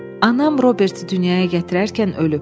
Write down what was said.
Anam Roberti dünyaya gətirərkən ölüb.